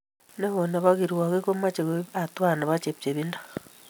neo nebo kirwogik komache koib hatuait nebo chepchepindo